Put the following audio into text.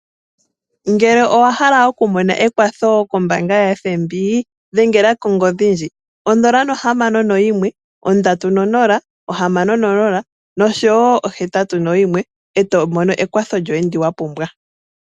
Ngele owa hala oku mona ekwatho kombaanga yaFNB dhengela kongodhi ndji: 061306081 eto mono ekwatho lyoye ndi wa pumbwa.